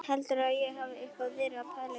Heldurðu að ég hafi eitthvað verið að pæla í því!